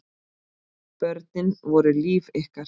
Börnin voru líf ykkar.